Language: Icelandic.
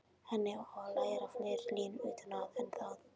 HENNI OG LÆRA FLEIRI LÍNUR UTAN AÐ, EN ÞAÐ